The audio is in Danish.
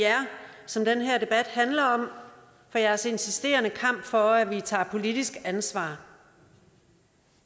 jer som den her debat handler om og for jeres insisterende kamp for at vi tager politisk ansvar